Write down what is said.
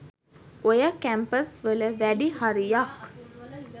ඔය කැම්පස් වල වැඩි හරියක්